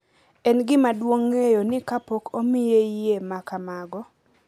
En gima duong’ ng’eyo ni kapok omiye yie ma kamago,